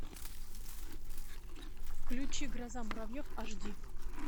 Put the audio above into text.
включи гроза муравьев аш ди